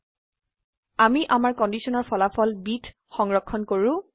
000153 000104 আমি আমাৰ কন্ডিশনৰ ফলাফল b ত সংৰক্ষণ কৰো